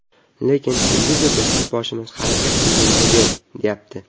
Lekin televizorda yurtboshimiz harakat qilganga ber, deyapti.